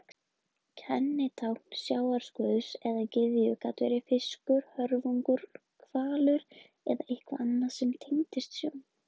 Kennitákn sjávarguðs eða gyðju gat verið fiskur, höfrungur, hvalur eða eitthvað annað sem tengist sjó.